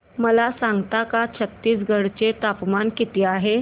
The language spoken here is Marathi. मला सांगता का छत्तीसगढ चे तापमान किती आहे